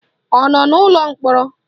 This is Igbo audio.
Ọ nọ n'ụlọ mkpọrọ?